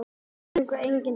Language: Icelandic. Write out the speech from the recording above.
Enginn söngur, enginn dans.